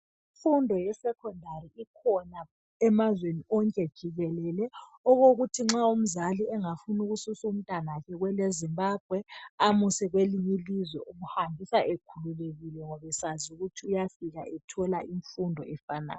Imfundo yesecondary ikhona emazweni wonke jikelele okokuthi nxa umzali engafuna ukususa umntanakhe kweleZimbabwe amuse kwelinye ilizwe umhambisa ekhululekile ngoba esazi ukuthi uyafika ethola imfundo efanayo.